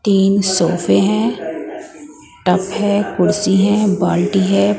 तीन सोफे हैं टप है कुर्सी है बाल्टी है।